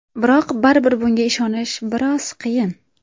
Biroq baribir bunga ishonish biroz qiyin.